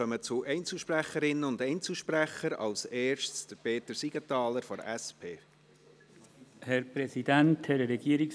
Wir kommen zu den Einzelsprecherinnen und Einzelsprechern, zuerst zu Peter Siegenthaler von der SP.